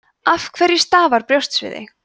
af hverju stafar brjóstsviði